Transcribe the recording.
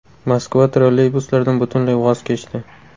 Moskva trolleybuslardan butunlay voz kechdi.